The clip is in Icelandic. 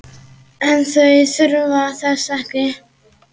En þau þurfa þess ekki.